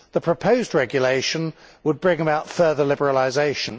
The proposed regulation would bring about further liberalisation.